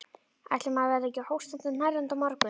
Ætli maður verði ekki hóstandi og hnerrandi á morgun.